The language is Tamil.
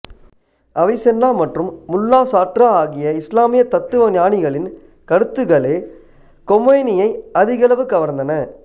அவிஸென்னா மற்றும் முல்லா ஸாட்ரா ஆகிய இஸ்லாமிய தத்துவ ஞானிகளின் கருத்துகளே கொமேனியை அதிகளவு கவர்ந்தன